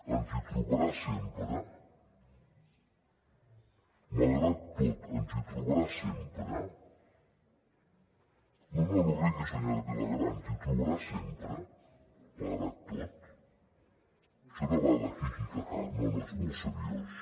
ens hi trobarà sempre malgrat tot ens hi trobarà sempre no no no rigui senyora vilagrà ens hi trobarà sempre malgrat tot això no va de hi hi ha ha no no és molt seriós